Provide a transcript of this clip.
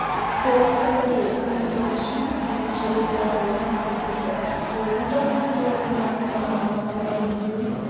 солтүстік корея соңғы жыл ішінде бесінші рет ядролық сынақ өткізді жойқын жарылыс килотоннаны құраған мамандар дүмпудің